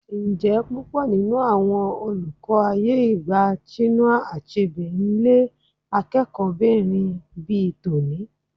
Ǹjẹ́ púpọ̀ nínú àwọn olùkọ́ ayé ìgbà Chinua Achebe ń lé akẹ́kọ̀ọ́bìnrin bi tòní?